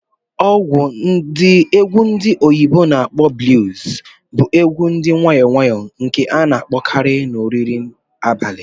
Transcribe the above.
Egwu ndi oyibo na akpo "Blues" bụ egwu dị nwayọ nwayọ nke a na-akpọkarị na oriri nri abalị